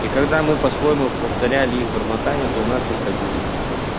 и когда мы по-своему повторяли их бормотанье то у нас выходило